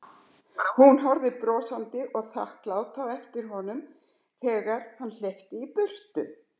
Hún horfir brosandi og þakklát á eftir honum þeg- ar hann hleypur í burtu.